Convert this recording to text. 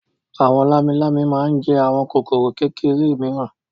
Àwọn lámilámi máa ń jẹ àwọn kòkòrò kékeré mìíràn.